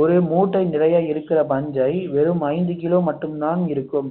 ஒரு மூட்டை நிறைய இருக்கிற பஞ்சை வெறும் ஐந்து கிலோ மட்டும்தான் இருக்கும்